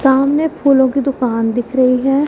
सामने फूलों की दुकान दिख रही है।